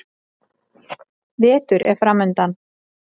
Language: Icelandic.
Vetur er framundan.